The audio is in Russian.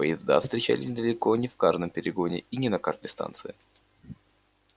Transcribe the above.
поезда встречались далеко не в каждом перегоне и не на каждой станции